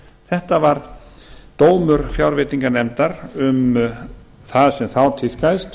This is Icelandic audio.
þetta var dómur fjárveitinganefndar um það sem þá tíðkaðist